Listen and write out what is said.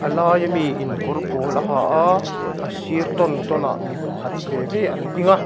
laia miin kawr pawl a ha a a sir tawn tawn ah mipakhat ve ve an ding a.